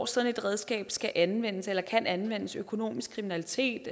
sådan et redskab skal anvendes eller kan anvendes økonomisk kriminalitet